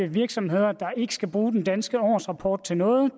virksomheder der ikke skal bruge den danske årsrapport til noget